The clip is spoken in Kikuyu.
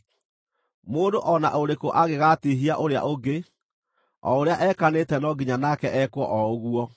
Mũndũ o na ũrĩkũ angĩgatiihia ũrĩa ũngĩ, o ũrĩa ekanĩte no nginya nake ekwo o ũguo: